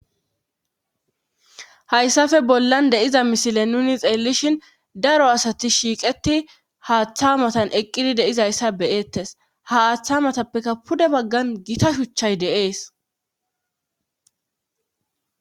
Hayssafe bollan deiza misile nuni xeellishin daro asati shiiqeti haaththa matan eqqidi deizayssa beyettes ha aaththa matappekka pude baggan gita shuchchay deees